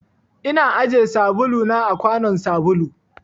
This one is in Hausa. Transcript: Ina ajiye sabulu na a kwanun sabulu.